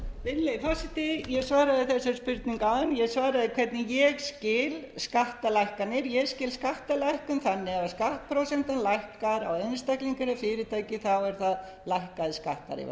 ég svaraði þessari spurningu áðan ég svaraði hvernig ég skil skattalækkanir ég skil skattalækkun þannig að ef skattprósentan lækkar á einstaklinga eða fyrirtæki eru það lækkaðir skattar ef